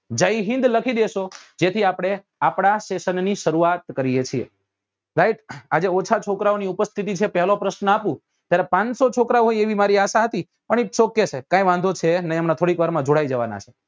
જય હિન્દ લખી દેશો જેથી આપડે આપડા session ની સરુઆત કરીએ છીએ right આજે ઓછા છોકરાઓ ની ઉપસ્થિતિ છે પેલો પ્રશ્ન આપું ત્યારે પાંચસો છોકરાઓ ની આશા હતી પણ its ok સાહેબ કઈ વાંધો છે નહી હમણાં થોડી વાર માં જોડાઈ જવા નાં છે